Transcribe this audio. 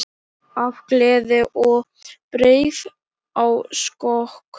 Af gleði ég bregð á skokk.